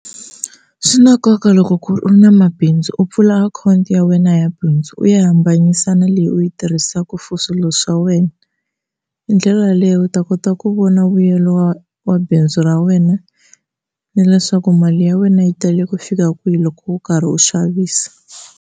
Swi na nkoka loko ku ri u na mabindzu u pfula akhawunti ya wena ya bindzu u ya hambanyisa na leyi u yi tirhisaka for swilo swa wena, hi ndlela yaleyo u ta kota ku vona vuyelo wa wa bindzu ra wena ni leswaku mali ya wena yi tele ku fika kwihi loko u karhi u xavisa.